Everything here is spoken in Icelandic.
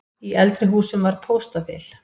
Í eldri húsum var póstaþil.